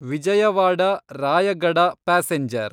Vijayawada Rayagada passenger